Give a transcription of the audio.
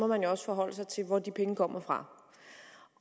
man jo også forholde sig til hvor de penge kommer fra